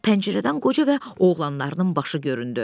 Pəncərədən qoca və oğlanlarının başı göründü.